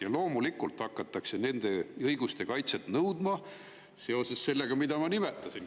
Ja loomulikult hakatakse nende õiguste kaitsmist nõudma seoses sellega, mida ma nimetasin.